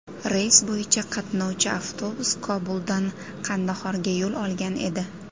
Reys bo‘yicha qatnovchi avtobus Kobuldan Qandahorga yo‘l olgan edi.